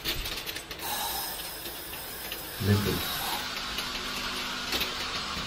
неффекс